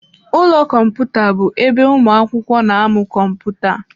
Ụlọ Kọmputa bụ ebe ụmụ akwụkwọ na-amụ kọmputa.